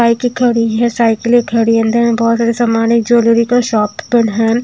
बाईके खड़ी है साइकिले खड़ी है अंदर में बहोत सारा सामान है ज्वेलरी का शॉप ओपेन है।